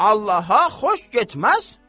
Allaha xoş getməz.